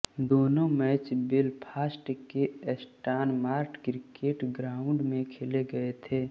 दोनों match Belfast के Stormont cricket ground में खेले गए थे